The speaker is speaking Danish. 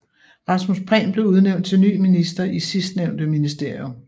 Rasmus Prehn blev udnævnt til ny minister i sidstnævnte ministerium